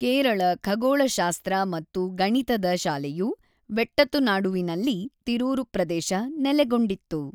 ಕೇರಳ ಖಗೋಳಶಾಸ್ತ್ರ ಮತ್ತು ಗಣಿತದ ಶಾಲೆಯು ವೆಟ್ಟತುನಾಡುವಿನಲ್ಲಿ(ತಿರೂರು ಪ್ರದೇಶ) ನೆಲೆಗೊಂಡಿತ್ತು.